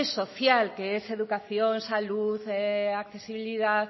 social que es educación salud accesibilidad